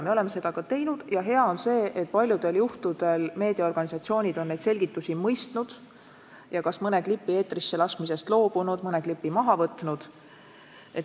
Me oleme seda ka teinud ja hea on see, et paljudel juhtudel meediaorganisatsioonid on neid selgitusi mõistnud ja mõne klipi eetrisse laskmisest loobunud, mõne klipi maha võtnud.